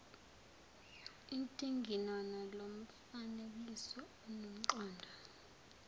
intinginono lomfanekiso unomqondo